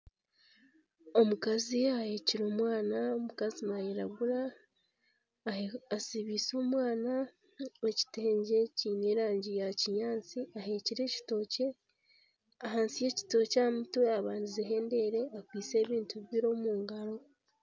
Omukazi aheekire omwana, omukazi nairagura. Asibiize omwana ekitengye kiine erangi ya kinyaatsi aheekire ekitookye. Ahansi y'ekitookye aha mutwe abandizeho endeere akwaitse ebintu bibiri omu ngaro.